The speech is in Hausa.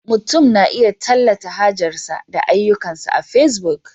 Mutum na iya tallata hajarsa da ayyukansa a Facebook